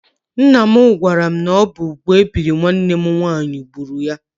Ńnà m gwara m na ọ bụ úgwú ebiri nwanne m nwaanyị gbúrù ya.